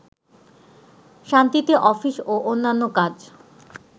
শান্তিতে অফিস ও অন্যান্য কাজ